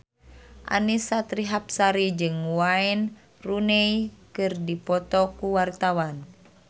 Annisa Trihapsari jeung Wayne Rooney keur dipoto ku wartawan